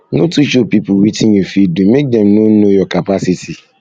no too show pipo wetin you fit do make dem no know your capacity